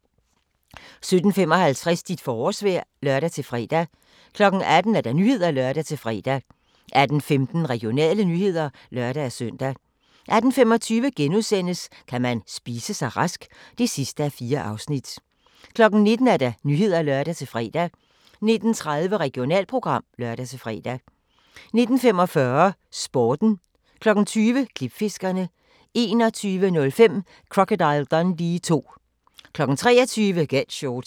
17:55: Dit forårsvejr (lør-fre) 18:00: Nyhederne (lør-fre) 18:15: Regionale nyheder (lør-søn) 18:25: Kan man spise sig rask? (4:4)* 19:00: Nyhederne (lør-fre) 19:30: Regionalprogram (lør-fre) 19:45: Sporten 20:00: Klipfiskerne 21:05: Crocodile Dundee II 23:00: Get Shorty